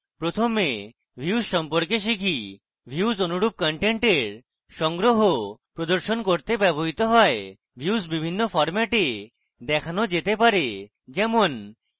প্রথমে views সম্পর্কে শিখি views অনুরূপ কন্টেন্টের সংগ্রহ প্রদর্শন করতে ব্যবহৃত হয় views বিভিন্ন ফরম্যাটে দেখানো যেতে পারে যেমন